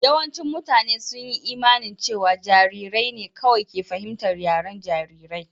Yawancin mutane sun yi imanin cewa jarirai ne kawai ke fahimtar yaren jarirai.